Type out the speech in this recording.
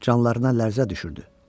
canlarına lərzə düşürdü.